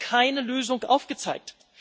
Und da haben Sie keine Lösung aufgezeigt.